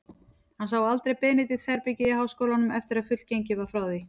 Hann sá aldrei Benedikts-herbergið í háskólanum, eftir að fullgengið var frá því.